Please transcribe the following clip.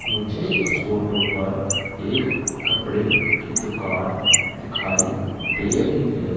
मुझे इस फोटो पर एक कपड़े की दुकान दिखाई दे रही हैं।